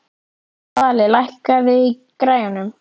Svali, lækkaðu í græjunum.